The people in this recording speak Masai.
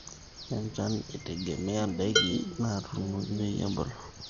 enchan eitegemea ndaiki natuunoki peyie ebulu